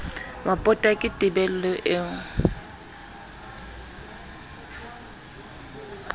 wa pota ke tebello eo